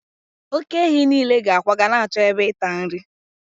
oke-ehi nile ga-akwaga na-achọ ebe ịta nri